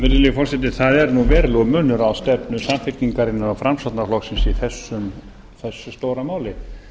virðulegi forseti það er nú verulegur munur á stefnu samfylkingarinnar og framsóknarflokksins í þessu stóra máli